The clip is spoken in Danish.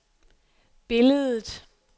billedet